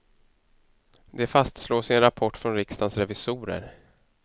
Det fastslås i en rapport från riksdagens revisorer.